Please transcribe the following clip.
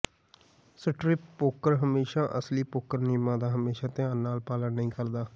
strip poker ਹਮੇਸ਼ਾਂ ਅਸਲੀ poker ਨਿਯਮਾਂ ਦਾ ਹਮੇਸ਼ਾ ਧਿਆਨ ਨਾਲ ਪਾਲਣ ਨਹੀਂ ਕਰਦਾ